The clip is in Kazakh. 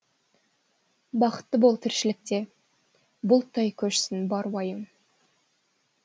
бақытты бол тіршілікте бұлттай көшсін бар уайым